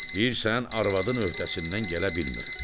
Deyirsən arvadının öhdəsindən gələ bilmirəm.